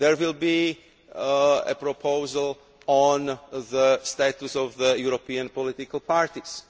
There will be a proposal on the status of the European political